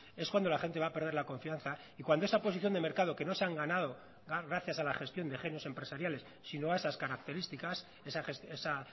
es cuando la gente va a perder la confianza y cuando esa posición de mercado que no se han ganada gracias a la gestión de genios empresariales sino a esas características esa